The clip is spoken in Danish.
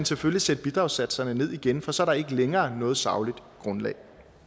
selvfølgelig sætte bidragssatserne ned igen for så er der ikke længere noget sagligt grundlag